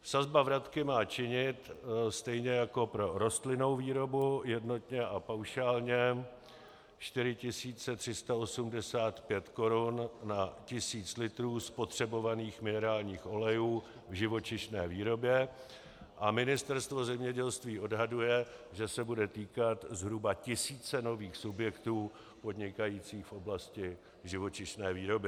Sazba vratky má činit stejně jako pro rostlinnou výrobu jednotně a paušálně 4 385 korun na tisíc litrů spotřebovaných minerálních olejů v živočišné výrobě a Ministerstvo zemědělství odhaduje, že se bude týkat zhruba tisíce nových subjektů podnikajících v oblasti živočišné výroby.